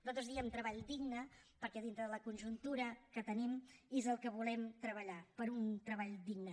nosaltres diem treball digne perquè dintre de la conjuntura que tenim és el que volem treballar per un treball digne